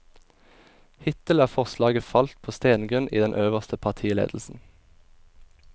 Hittil er forslaget falt på stengrunn i den øverste partiledelsen.